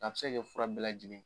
Nka a bi se ka kɛ fura bɛɛ lajɛlen.